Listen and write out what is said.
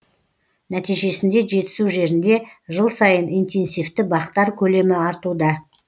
нәтижесінде жетісу жерінде жыл сайын интенсивті бақтар көлемі артуда